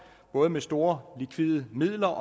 både med store likvide midler og